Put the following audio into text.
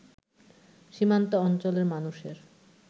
সীমান্ত অঞ্চলের মানুষের